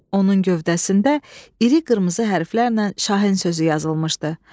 Onun gövdəsində iri qırmızı hərflərlə Şahin sözü yazılmışdı.